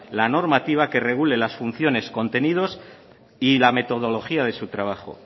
la normativa que regule las funciones contenidos y la metodología de su trabajo